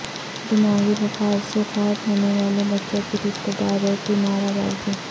دماغی بخار سے فوت ہونے والے بچوں کے رشتہ داروں کی نعرہ بازی